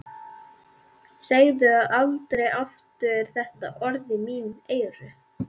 Segðu aldrei aftur þetta orð í mín eyru.